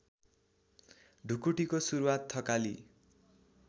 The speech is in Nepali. ढुकुटीको सुरूवात थकाली